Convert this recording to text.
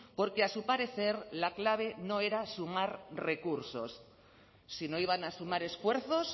porque a su parecer la clave no era sumar recursos si no iban a sumar esfuerzos